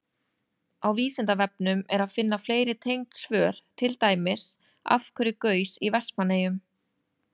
Flug fugla kostar þá mikla orku, miklu meiri en flestar aðrar hreyfingar dýra.